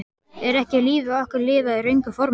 Er ekki lífi okkar lifað í röngu formi?